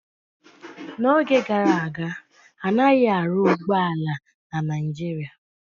N'oge gara aga, anaghị arụ ụgbọ ala na Naijiria